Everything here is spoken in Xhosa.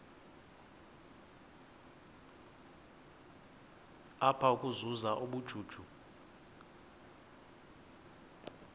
apha ukuzuza ubujuju